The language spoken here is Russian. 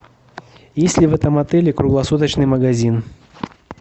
есть ли в этом отеле круглосуточный магазин